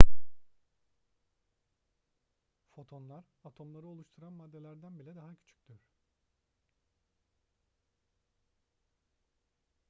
fotonlar atomları oluşturan maddelerden bile daha küçüktür